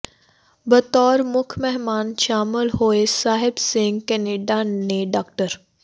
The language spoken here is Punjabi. ਬਤੌਰ ਮੁੱਖ ਮਹਿਮਾਨ ਸ਼ਾਮਲ ਹੋਏ ਸਾਹਿਬ ਸਿੰਘ ਕੈਨੇਡਾ ਨੇ ਡਾ